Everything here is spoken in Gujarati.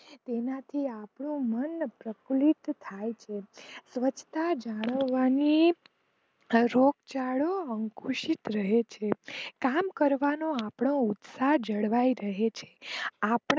તેનાથી આપણું મન પફુલીત થાય છે સ્વચ્છ તા જળવાથી રોગચાળો અંકુશિત રહે છે. આમ કરવાથી આપનો ઉતસાહ જળવાઈ રહે છે.